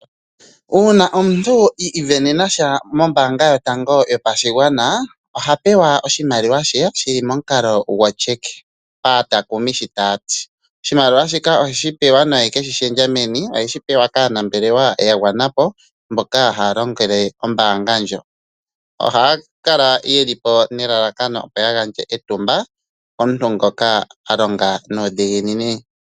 Uuna omuntu iivenenasha mombaanga yotango yopashigwana oha pewa oshimaliwa she shili momukalo goCheck aatakumi shi tayati. Oshimaliwa shika oheshi pewa no hekeshi shendja meni, oheshi pewa kaanambelewa yagwanapo mboka haalongele ombaanga ndjo, ohaya kala yeli nelalakano opo yagandje etumba komuntu ngoka alonga nuudhiginini.